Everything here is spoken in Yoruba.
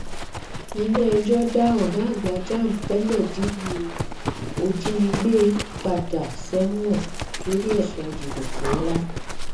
iléẹjọ dá ọgá àgbà jamb tẹlẹ díbú òjínigbé padà sẹwọn lórí ẹsùn jìbìtì ńlá